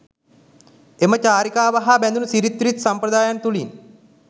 එම චාරිකාව හා බැඳුණු සිරිත් විරිත් සම්ප්‍රදායන් තුළින්